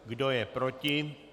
Kdo je proti?